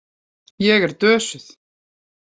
Ég er dösuð.